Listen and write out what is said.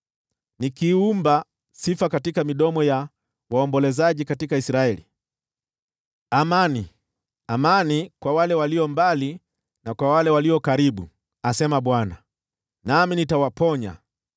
nikiumba sifa midomoni ya waombolezaji katika Israeli. Amani, amani, kwa wale walio mbali na kwa wale walio karibu,” asema Bwana . “Nami nitawaponya.”